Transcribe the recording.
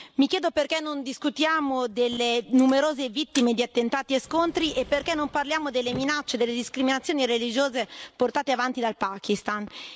Mi chiedo perché non discutiamo delle numerose vittime di attentati e di scontri e perché non parliamo delle minacce e delle discriminazioni religiose portate avanti dal Pakistan.